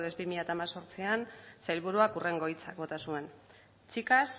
bi mila hemezortzian sailburuan hurrengo hitza bota zuen chicas